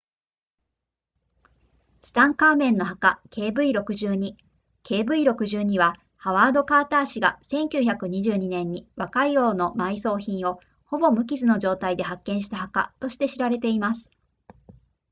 ツタンカーメンの墓 kv62 kv62 はハワードカーター氏が1922年に若い王の埋葬品をほぼ無傷の状態で発見した墓として知られています